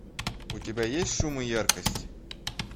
у тебя есть шум и яркость